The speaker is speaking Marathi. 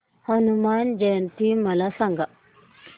हनुमान जयंती मला सांगा